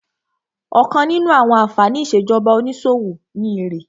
Ọ̀kan nínú àwọn ànfàní ìṣèjọba onísòwò ni èrè